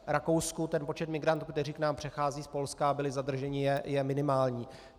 Ten počet migrantů, který k nám přechází z Polska a byli zadrženi, je minimální.